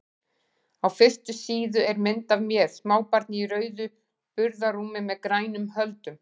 Á fyrstu síðu er mynd af mér, smábarni í rauðu burðarrúmi með grænum höldum.